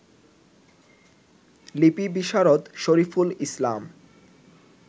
লিপিবিশারদ Shariful Islam